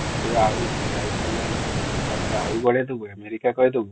ହଁ ତୁ |